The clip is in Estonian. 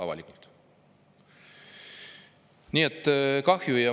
Kahju!